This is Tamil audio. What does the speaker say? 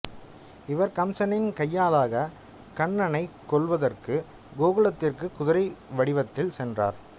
இவர் கம்சனின் கையாளாக கண்ணனைக் கொல்வதற்கு கோகுலத்திற்கு குதிரை வடிவத்தில் சென்றார்